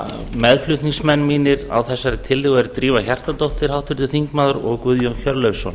meðflutningsmenn mínir á þessari tillögu eru háttvirtir þingmenn drífa hjartardóttir guðjón hjörleifsson